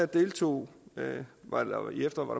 deltog